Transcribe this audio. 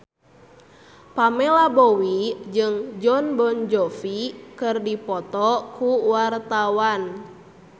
Pamela Bowie jeung Jon Bon Jovi keur dipoto ku wartawan